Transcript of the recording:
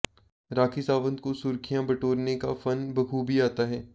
राखी सावंत को सुर्खियां बटोरने का फन बखूबी आता हैं